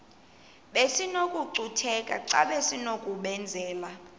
besinokucutheka xa besinokubenzela